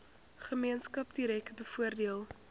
gemeenskap direk bevoordeel